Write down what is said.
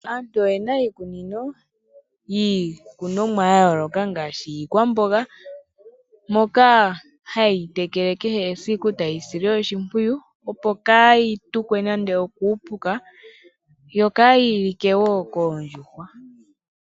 Aantu oyena iikunino yiikunomwa yayooloka ngaashi iikwamboga, moka haye yi tekele kehe esiku, e taye yi sile oshimpwiyu opo kaayi tukwe nande okuupuka, yo kaayi like woo koondjuhwa.